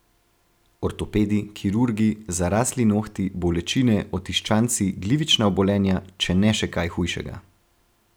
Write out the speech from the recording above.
Ortopedi, kirurgi, zarasli nohti, bolečine, otiščanci, glivična obolenja, če ne še kaj hujšega.